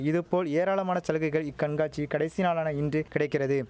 இதுபோல் ஏராளமான சலுகைகள் இக்கண்காட்சி கடைசி நாளான இன்று கிடைக்கிறது